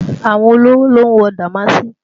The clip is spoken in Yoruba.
Àwọn olówò ló ń wọ dàmáàsì